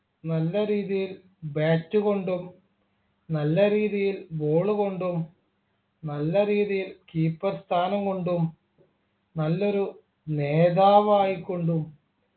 നല്ല രീതിയിൽ Bat കൊണ്ടും നല്ല രീതിയിൽ Ball കൊണ്ടും നല്ല രീതിയിൽ Keeper സ്ഥാനം കൊണ്ടും നല്ലൊരു നേതാവായികൊണ്ടും